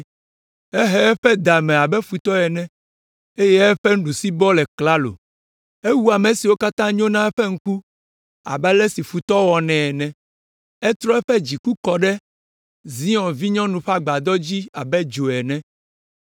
Ehe eƒe da me abe futɔ ene eye eƒe nuɖusibɔ le klalo. Ewu ame siwo katã nyo na eƒe ŋku abe ale si futɔ wɔnɛ ene. Etrɔ eƒe dziku kɔ ɖe Zion vinyɔnu ƒe agbadɔ dzi abe dzo ene.